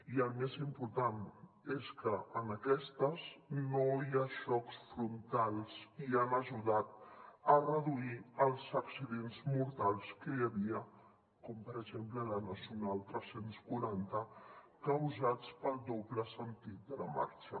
i el més important és que en aquestes no hi ha xocs frontals i han ajudat a reduir els accidents mortals que hi havia com per exemple a la nacional tres cents i quaranta causats pel doble sentit de la marxa